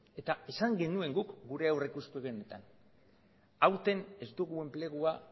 eta esan genuen guk gure aurrikuspenetan aurten ez dugu enplegua